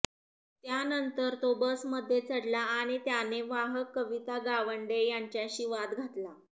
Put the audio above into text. त्यानंतर तो बसमध्ये चढला आणि त्याने वाहक कविता गावंडे यांच्याशी वाद घातला